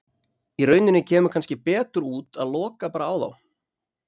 Í rauninni kemur kannski betur út að loka bara á þá.